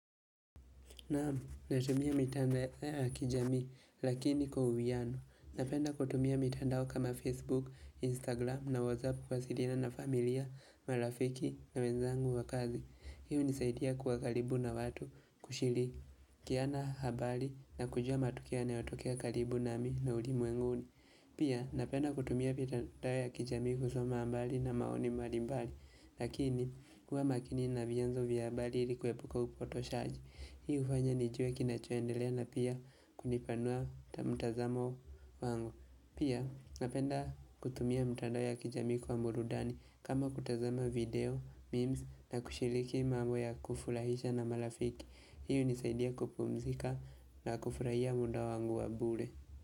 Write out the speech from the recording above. Naam, natumia mitandao ya kijamii lakini kwa uhuwiano. Napenda kutumia mitandao kama Facebook, Instagram na WhatsApp kuwasiliana na familia, marafiki na wenzangu wa kazi. Hii hunisaidia kuwa karibu na watu kushirikiana habari na kujua matukio yanayotokea karibu na mimi na ulimwenguni. Pia napenda kutumia mitandao ya kijamii kusoma habari na maoni mbalimbali Lakini huwa makini na vyombo vya habari ili kuepuka upotoshaji. Hii hufanya nijue kinachoendelea na pia kunipanua mtazamo wangu Pia napenda kutumia mitandao ya kijamii kwa burudani, kama kutazama video, meme na kushiriki mambo ya kufurahisha na marafiki Hii hunisaidia kupumzika na kufurahia muda wangu wa bure.